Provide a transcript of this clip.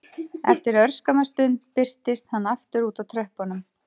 Eftir örskamma stund birtist hann aftur úti á tröppunum